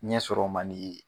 Ɲɛ sɔrɔ man dii